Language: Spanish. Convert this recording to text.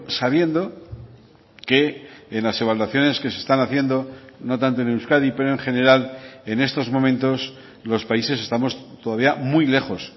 sabiendo que en las evaluaciones que se están haciendo no tanto en euskadi pero en general en estos momentos los países estamos todavía muy lejos